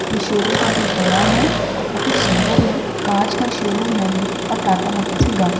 यह शोरूम काफी बड़ा है और काफी सुंदर है। कांच का शोरूम है यह और टाटा मोटर्स की गाड़ी।